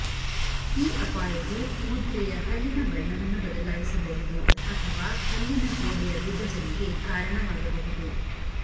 ಈ ಅಪಾಯವು ಮುದ್ರೆಯ ಹಲ್ಲಿನ ಬಣ್ಣವನ್ನು ಬದಲಾಯಿಸಬಹುದು ಅಥವಾ ಹಲ್ಲಿನ ಗೋಡೆಯ ವಿಭಜನೆಗೆ ಕಾರಣವಾಗಬಹುದು